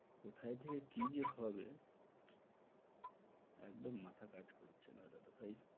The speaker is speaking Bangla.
কোথায় থেকে কি যে হবে? একদম মাথা কাজ করছেনা দাদা ভাই।